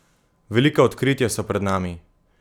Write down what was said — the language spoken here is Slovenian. Velika odkritja so pred nami!